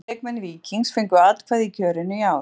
Tólf leikmenn Víkings fengu atkvæði í kjörinu í ár.